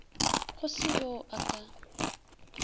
go se yo a ka